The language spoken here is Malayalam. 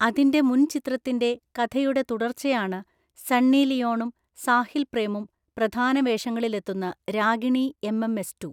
അതിന്‍റെ മുൻചിത്രത്തിന്‍റെ കഥയുടെ തുടർച്ചയാണ് സണ്ണി ലിയോണും സാഹിൽ പ്രേമും പ്രധാന വേഷങ്ങളിലെത്തുന്ന രാഗിണി എംഎംഎസ് റ്റു.